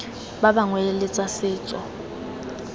ba bangwe le tsa setso